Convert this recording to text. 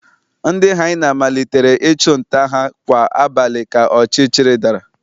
Ndị hyena malitere ịchụ nta ha kwa abalị ka ọchịchịrị dara